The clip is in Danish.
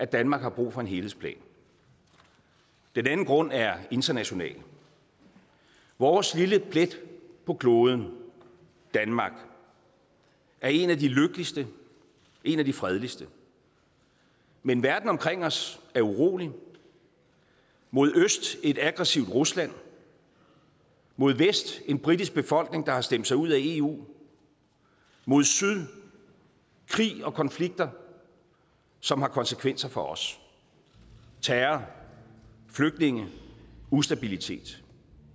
danmark har brug for en helhedsplan den anden grund er international vores lille plet på kloden danmark er en af de lykkeligste en af de fredeligste men verden omkring os er urolig mod øst et aggressivt rusland mod vest en britisk befolkning der har stemt sig ud af eu mod syd krige og konflikter som har konsekvenser for os terror flygtninge ustabilitet